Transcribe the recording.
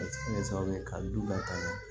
A bɛ se ka kɛ sababu ye ka duba ka ɲɛ